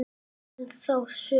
Ég man þá sögu.